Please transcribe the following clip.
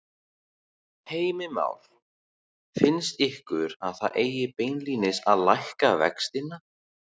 Heimir Már: Finnst ykkur að það eigi beinlínis að lækka vextina?